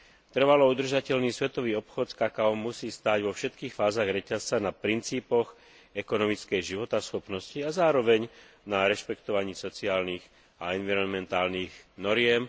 Trvalo udržateľný svetový obchod s kakaom musí stáť vo všetkých fázach reťazca na princípoch ekonomickej životaschopnosti a zároveň na rešpektovaní sociálnych a environmentálnych noriem.